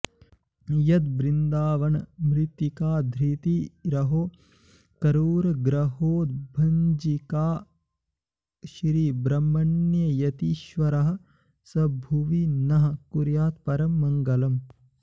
यद्वृन्दावनमृत्तिकाधृतिरहो क्रूरग्रहोद्भञ्जिका श्रीब्रह्मण्ययतीश्वरः स भुवि नः कुर्यात्परं मङ्गलम्